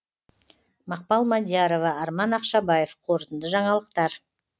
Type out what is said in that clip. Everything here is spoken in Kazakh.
мақпал мадиярова арман ақшабаев қорытынды жаңалықтар